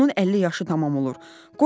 Onun 50 yaşı tamam olur.